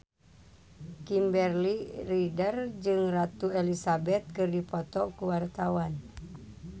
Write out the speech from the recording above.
Kimberly Ryder jeung Ratu Elizabeth keur dipoto ku wartawan